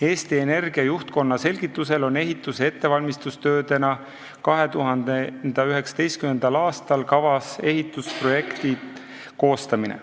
Eesti Energia juhtkonna selgitusel on ehituse ettevalmistustöödena 2019. aastal kavas ehitusprojekti koostamine.